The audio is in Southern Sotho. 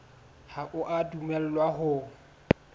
ha o a dumellwa ho